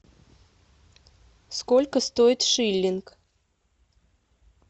сколько стоит шиллинг